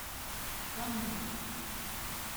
каннын